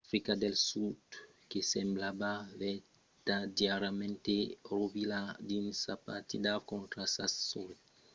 africa del sud que semblava vertadièrament rovilhada dins sa partida contra sas sòrres del sud se melhorèt pasmens constantament durant la progression del torneg